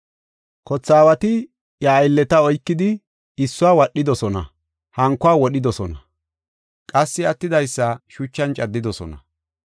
Kothe aawati iya aylleta oykidi issuwa wadhidosona, hankuwa wodhidosona qassi attidaysa shuchan caddidosona.